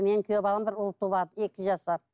менің күйеу ұл туады екі жасар